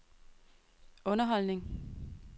underholdning